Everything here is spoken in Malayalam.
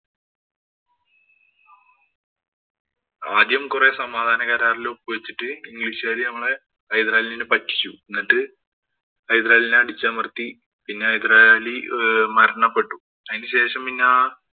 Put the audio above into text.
ആദ്യം കൊറേ സമാധാനകരാറില്‍ ഒപ്പുവച്ചിട്ടു ഇംഗ്ലീഷുകാര് നമ്മടെ ഹൈദരാലിനെ പറ്റിച്ചു. എന്നിട്ട് ഹൈദരാലിനെ അടിച്ചമര്‍ത്തി. പിന്നെ ഹൈദരാലി മരണപ്പെട്ടു. അതിനു ശേഷം പിന്നെ